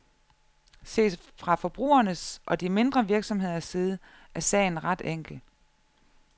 Set fra forbrugernes og de mindre virksomheders side er sagen er ret enkel.